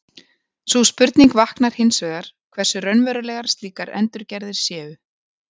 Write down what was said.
sú spurning vaknar hins vegar hversu raunverulegar slíkar endurgerðir séu